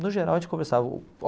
No geral, a gente conversava.